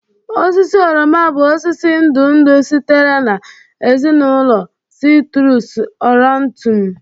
Osisi oroma bụ osisi ndụ ndụ sitere na ezinụlọ citrus aurantum